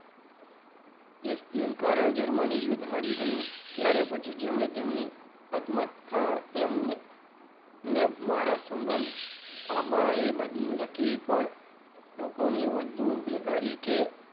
જશજુન કારણ જર્મની યુદ્ધ હારી ગયું ત્યારે પછી જેમને તેમની આત્મકથા એમ મેં મારા સંબંધ આમાં એ લખી પણ લોકોની વધુ બેકારી કે,